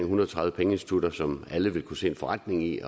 hundrede og tredive pengeinstitutter som alle vil kunne se en forretning i